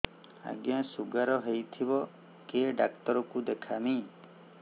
ଆଜ୍ଞା ଶୁଗାର ହେଇଥିବ କେ ଡାକ୍ତର କୁ ଦେଖାମି